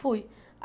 Fui.